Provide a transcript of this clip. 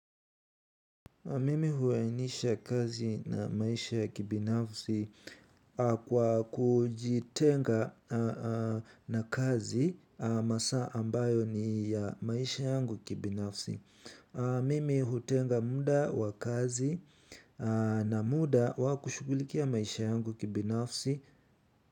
Mimi huainisha kazi na maisha ya kibinafsi kwa kujitenga na kazi masaa ambayo ni ya maisha yangu kibinafsi. Mimi hutenga muda wa kazi na muda wa kushughulikia maisha yangu kibinafsi.